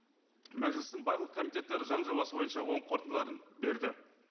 мәжілістің барлық комитеттері заң жобасы бойынша оң қорытындыларын берді